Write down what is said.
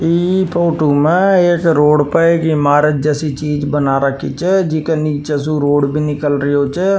इ फोटो में एक रोड पर की इमारत जैसी चीज बना रखी च जी के नीचे से रोड भी निकल रयो छ।